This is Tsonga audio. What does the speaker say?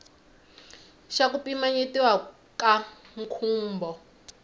xa ku pimanyetiwa ka nkhumbo